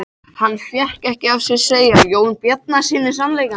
Hann fékk ekki af sér að segja Jóni Bjarnasyni sannleikann.